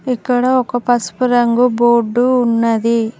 ఇక్కడ ఒక పసుపు రంగు బోర్డు ఉన్నది.